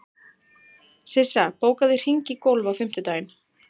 Sissa, bókaðu hring í golf á fimmtudaginn.